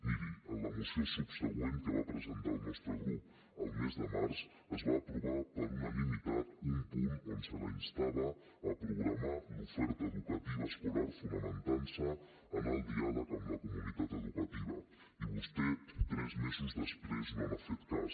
miri a la moció subsegüent que va presentar el nostre grup al mes de març es va aprovar per unanimitat un punt on se la instava a programar l’oferta educativa escolar fonamentant se en el diàleg amb la comunitat educativa i vostè tres mesos després no n’ha fet cas